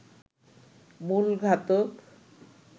মূল ঘাতক